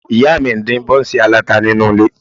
Ìyá mi ń dín bọ́ńsì aláta nínú ilé